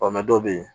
dɔw bɛ yen